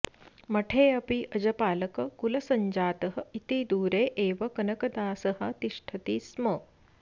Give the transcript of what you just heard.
मठेऽपि अजपालककुलसञ्जातः इति दूरे एव कनकदासः तिष्ठति स्म